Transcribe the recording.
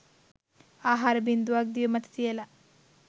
ආහාර බින්දුවක් දිව මත තියලා